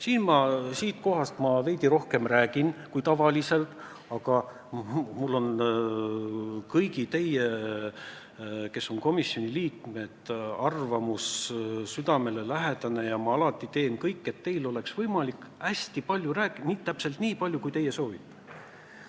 Siit puldist ma räägin veidi rohkem kui tavaliselt, aga mulle on kõigi komisjoni liikmete arvamus südamelähedane ja ma alati teen kõik, et teil oleks võimalik hästi palju rääkida – täpselt nii palju, kui te soovite.